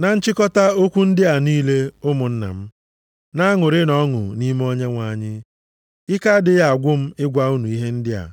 Na nchịkọta okwu ndị a niile, ụmụnna m, na-aṅụrịnụ ọṅụ nʼime Onyenwe anyị. Ike adịghị agwụ m ịgwa unu ihe ndị a.